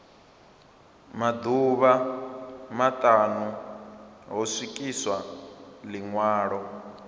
maḓuvha maṱanu ho swikiswa ḽiṅwalo